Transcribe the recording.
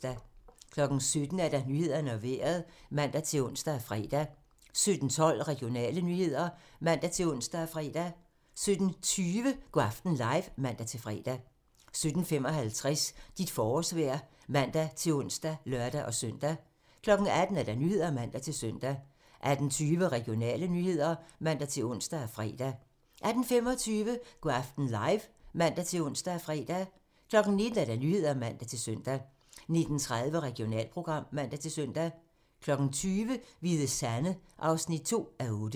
17:00: Nyhederne og Vejret (man-ons og fre) 17:12: Regionale nyheder (man-ons og fre) 17:20: Go' aften live (man-fre) 17:55: Dit forårsvejr (man-ons og lør-søn) 18:00: Nyhederne (man-søn) 18:20: Regionale nyheder (man-ons og fre) 18:25: Go' aften live (man-ons og fre) 19:00: Nyhederne (man-søn) 19:30: Regionalprogram (man-søn) 20:00: Hvide Sande (2:8)